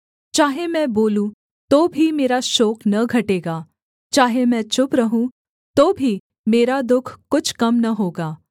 चाहे मैं बोलूँ तो भी मेरा शोक न घटेगा चाहे मैं चुप रहूँ तो भी मेरा दुःख कुछ कम न होगा